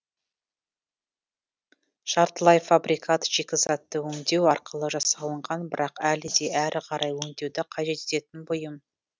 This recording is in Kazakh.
жартылай фабрикат шикізатты өңдеу арқылы жасалынған бірақ әлі де әрі қарай өңдеуді қажет ететін бұйым